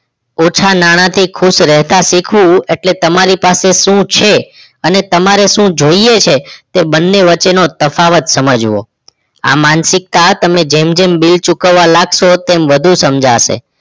ઓછા નાણાથી ખુશ રહેતા શીખવું એટલે તમારી પાસે શું છે અને તમારે શું જોઈએ છે તે બંને વચ્ચેનો તફાવત સમજવો આ માનસિક કાળ તમને જેમ જેમ બિલ ચૂકવવા લાગશો તેમ વધુ સમજાશે